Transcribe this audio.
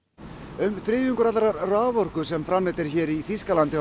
um þriðjungur allrar raforku sem framleidd er í Þýskalandi